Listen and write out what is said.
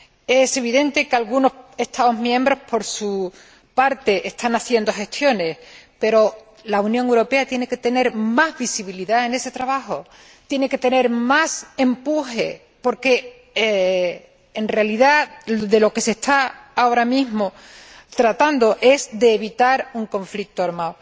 Es evidente que algunos Estados miembros, por su parte, están haciendo gestiones, pero la Unión Europea tiene que tener más visibilidad en ese trabajo, tiene que tener más empuje, porque, en realidad, de lo que se está ahora mismo tratando es de evitar un conflicto armado.